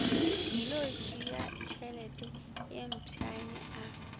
tlilo tšeatšhelete ye mpšane a